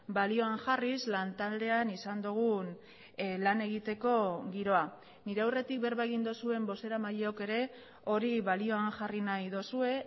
balioan jarriz lantaldean izan dugun lan egiteko giroa nire aurretik berba egin duzuen bozeramaileok ere hori balioan jarri nahi duzue